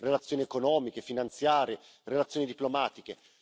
relazioni economiche, relazioni finanziarie, relazioni diplomatiche.